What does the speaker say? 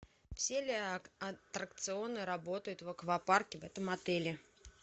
все ли аттракционы работают в аквапарке в этом отеле